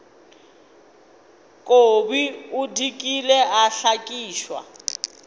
kobi o dikile a hlakišwa